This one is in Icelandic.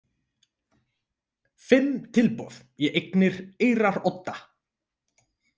Fimm tilboð í eignir Eyrarodda